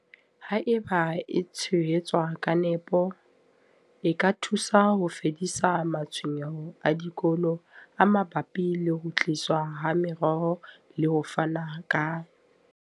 Haeba e tshehetswa ka nepo, e ka thusa ho fedisa matshwenyeho a dikolo a mabapi le ho tliswa ha meroho le ho fana ka.